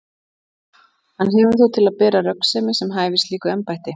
Hann hefur þó til að bera röggsemi sem hæfir slíku embætti.